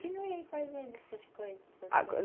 Continuei fazendo essas coisas.